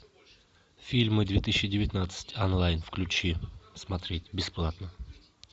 фильмы две тысячи девятнадцать онлайн включи смотреть бесплатно